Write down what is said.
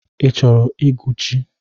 I chọrọ ịgụ chi?